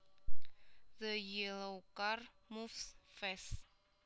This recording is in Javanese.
The yellow car moves fast